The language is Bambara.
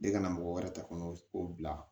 Ne ka na mɔgɔ wɛrɛ ta kɔnɔ o bila